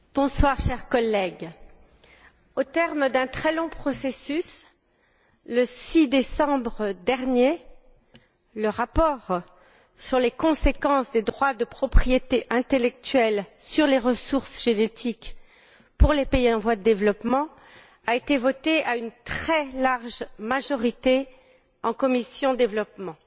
Monsieur le Président, chers collègues, au terme d'un très long processus, le 6 décembre dernier, le rapport sur les conséquences des droits de propriété intellectuelle sur les ressources génétiques pour les pays en voie de développement a été voté à une très large majorité au sein de la commission du développement.